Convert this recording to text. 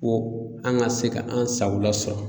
ko an ka se ka an sagola sɔrɔ.